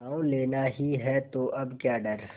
गॉँव लेना ही है तो अब क्या डर